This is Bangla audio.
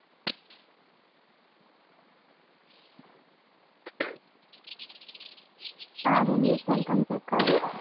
আর এমনি phone টোন check করেনা?